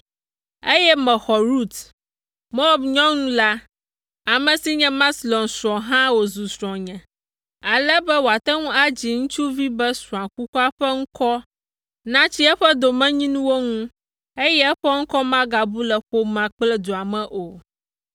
eye mexɔ Rut, Moab nyɔnu la, ame si nye Maxlon srɔ̃ hã wòzu srɔ̃nye, ale be wòate ŋu adzi ŋutsuvi be srɔ̃a kukua ƒe ŋkɔ natsi eƒe domenyinuwo ŋu, eye eƒe ŋkɔ magabu le ƒomea kple dua me o.”